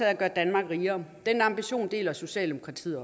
at gøre danmark rigere den ambition deler socialdemokratiet